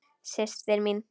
Systir mín.